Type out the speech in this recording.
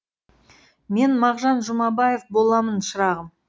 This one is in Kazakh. мен мағжан жұмабаев боламын шырағым